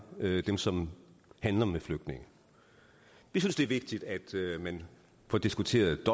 dem som handler med flygtninge vi synes det er vigtigt at man får diskuteret